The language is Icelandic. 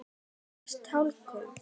Hvar fæst talkúm?